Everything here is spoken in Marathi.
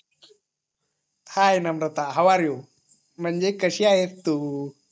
high Namrata how are you म्हणजे कशी आहेस तू